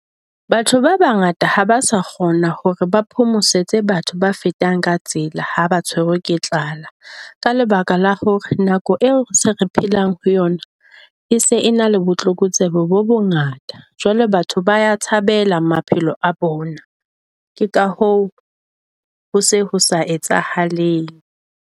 Batho ba bangata ha ba sa kgona hore ba phomosetsebatho ba fetang ka tsela ha ba tshwerwe ke tlala. Ka lebaka la hore nako eo se re phelang ho yona e se na le botlokotsebe bo bongata. Jwale batho ba ya tshabela maphelo a bona ke ka hoo ho se ho sa etsahaleng.